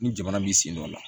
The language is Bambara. Ni jamana m'i sen dɔ la